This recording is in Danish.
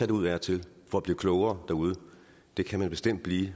derud af og til for at blive klogere derude det kan man bestemt blive